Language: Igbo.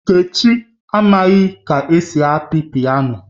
Nkechi amaghi ka esi api piano